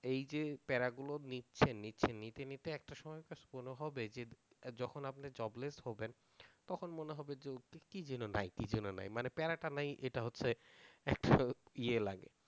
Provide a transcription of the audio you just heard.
এই যে প্যারা গুলো নিচ্ছেন নিচ্ছেন নিতে নিতে একটা সময় মনে হবে যে যখন আপনি job less হবেন তখন মনে হবে যে কি যেন নাই কি যেন নাই মানে প্যারাটা নাই এটা হচ্ছে একটু ইয়ে লাগে।